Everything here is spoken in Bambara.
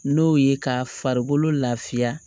N'o ye ka farikolo lafiya